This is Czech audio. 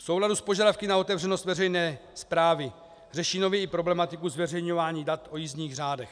V souladu s požadavky na otevřenost veřejné správy řeší nově i problematiku zveřejňování dat o jízdních řádech.